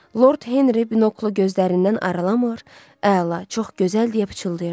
Lord Henri binoklu gözlərindən ayırmır, əla, çox gözəl deyə pıçıldayırdı.